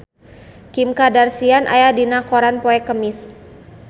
Kim Kardashian aya dina koran poe Kemis